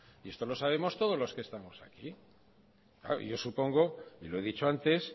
y esto lo sabemos todos los que estamos aquí claro y yo supongo y lo he dicho antes